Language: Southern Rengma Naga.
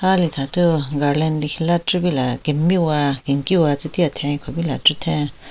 Halithathu garland lekhila chupila kemiwa kenkiwa tsu ti athen khupila chitheng.